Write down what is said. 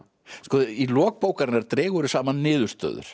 í lok bókarinnar dregurðu saman niðurstöður